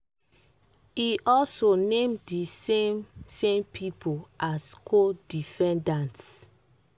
e also name di same same pipo as co-defendants.